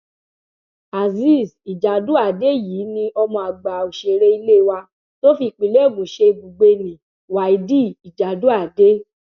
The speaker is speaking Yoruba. azeez ijàdùadé yìí ni ọmọ àgbà òṣèré ilé wa tó fi ìpínlẹ ogun ṣe ibùgbé nni wáídì ìjàdùádè